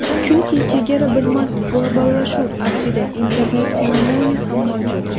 Chunki chegara bilmas globallashuv avjida, Internet fenomeni ham mavjud.